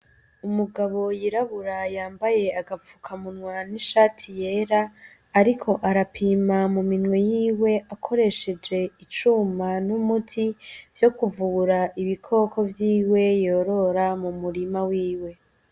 Umugabo yirabura yambaye agapfukamunwa n'ishati yera, ariko arapima mu minwe yiwe akoresheje icuma n'umuti vyo kuvura ibikoko vyiwe yorora mu murima wiwe.